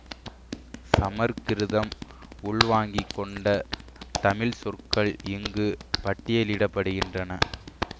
சமற்கிருதம் உள்வாங்கிக்கொண்ட தமிழ்ச்சொற்கள் இங்கு பட்டியலிட படுகின்றன